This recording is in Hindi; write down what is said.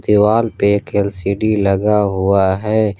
दीवाल पे एक एल_सी_डी लगा हुआ है।